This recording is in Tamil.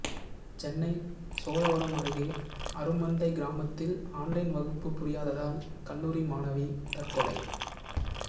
சென்னை சோழவரம் அருகே அருமந்தை கிராமத்தில் ஆன்லைன் வகுப்பு புரியாததால் கல்லூரி மாணவி தற்கொலை